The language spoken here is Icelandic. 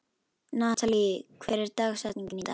Natalí, hver er dagsetningin í dag?